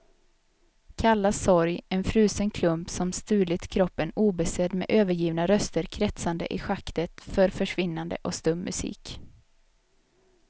Kallas sorg, en frusen klump som stulit kroppen obesedd med övergivna röster kretsande i schaktet för försvinnande och stum musik.